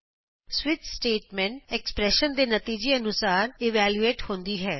switch statement expression ਦੇ ਨਤੀਜੇ ਅਨੁਸਾਰ ਇਵਲੈਯੂਏਟ ਹੁੰਦੀ ਹੈ